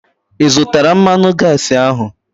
Ị zụtara mmanụ gaasi ahu?